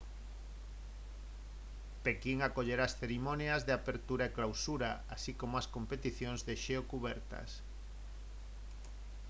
pequín acollerá as cerimonias de apertura e clausura así como as competicións de xeo cubertas